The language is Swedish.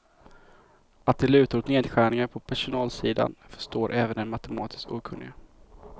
Att det lutar åt nedskärningar på personalsidan förstår även den matematiskt okunnige.